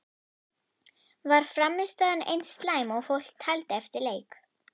Var frammistaðan eins slæm og fólk taldi eftir leik?